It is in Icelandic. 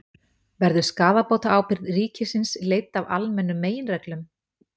Verður skaðabótaábyrgð ríkisins leidd af almennum meginreglum?